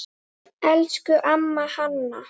Elsku amma Hanna.